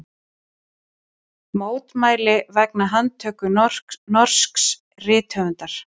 Mótmæli vegna handtöku norsks rithöfundar